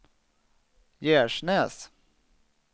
Gärsnäs